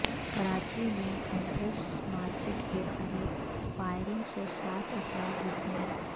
کراچی میں Empress Market کے قریب فائرنگ سے سات افراد زخمی